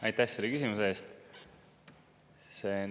Aitäh selle küsimuse eest!